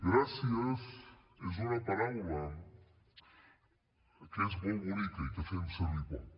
gràcies és una paraula que és molt bonica i que fem servir poc